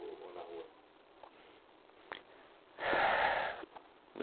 ou na rua?